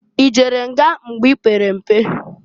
I jere nga mgbe i pere mpe?